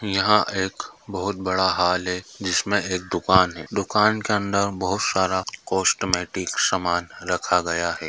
यह एक बोहत बड़ा हाले जिसमे एक दुकान है। दुकान के अंदर बहोत सारा कॉस्मेटिक सामान रखा गया है।